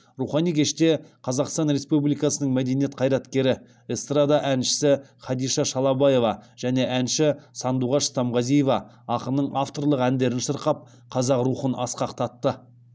рухани кеште қазақстан республикасының мәдениет қайраткері эстрада әншісі хадиша шалабаева және әнші сандуғаш стамғазиева ақынның авторлық әндерін шырқап қазақ рухын асқақтатты